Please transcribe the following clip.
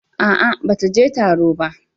A'a, ba ta je taro ba.